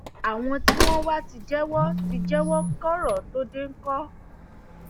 àwọn tí wọn wàá ti jẹwọ ti jẹwọ kí koro tóo dé ńkọ